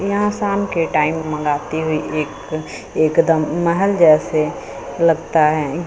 यहां शाम के टाइम मंगाती हुई एक एकदम महल जैसे लगता है गे--